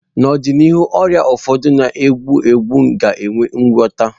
N'ọdịnihu, ọrịa ụfọdụ na-egbu egbu ga enwe ngwota.